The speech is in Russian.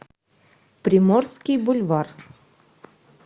приморский бульвар